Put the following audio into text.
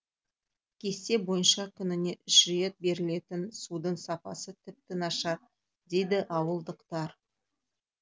кесте бойынша күніне үш рет берілетін судың сапасы тіпті нашар дейді ауылдықтар